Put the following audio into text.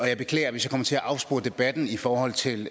jeg beklager hvis jeg kom til at afspore debatten i forhold til